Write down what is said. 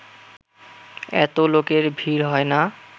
এত লোকের ভিড় হয় না